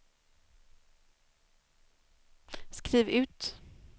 skriv ut